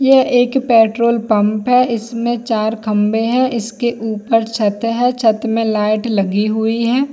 यह एक petrol pump है इसमें चार खंभे है इसके ऊपर छत है छत मे लाइट लगी हुई हैं।